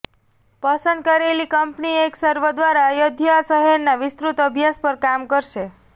પસંદ કરેલી કંપની એક સર્વે દ્વારા અયોધ્યા શહેરના વિસ્તૃત અભ્યાસ પર કામ કરશે